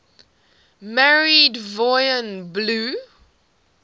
married yvonne blue